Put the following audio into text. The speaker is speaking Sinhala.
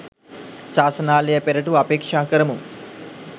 ශාසනාලය පෙරටුව අපේක්ෂා කරමු.